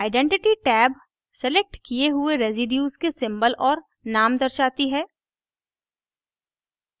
identity identity tab selected किये हुए residue के symbol और name दर्शाती है